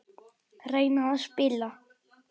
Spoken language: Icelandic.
Reyna að spila!